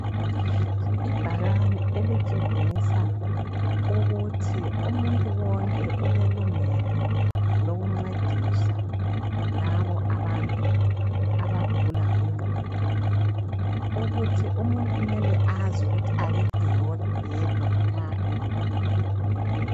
Ibhakane elitshengisa ukuthi umuntu wonke ulelungelo lokuncedisa labo abantu abagula ngengqondo, ukuthi umuntu kumele azi ukuthi akekho yedwa nxa elohlupho.